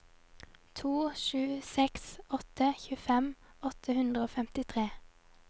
to sju seks åtte tjuefem åtte hundre og femtitre